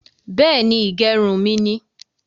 Beeni, ìgẹrun mi ni